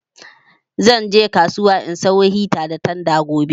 Zan je kasuwa in sayo hita da tanda gobe